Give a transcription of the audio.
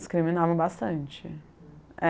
Discriminavam bastante.